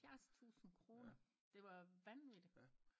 Halvfjerds tusinde kroner det var vanvittigt